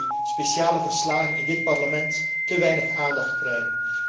Ik denk dat die speciale verslagen in dit Parlement te weinig aandacht krijgen.